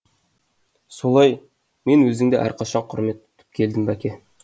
солай мен өзіңді әрқашан құрмет тұтып келдім бәке